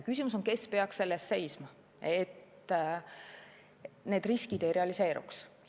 Küsimus on, kes peaks selle eest seisma, et need riskid ei realiseeruks.